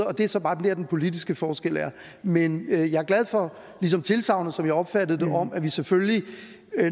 og det er så bare der den politiske forskel er men jeg er glad for tilsagnet som jeg opfattede det om at vi selvfølgelig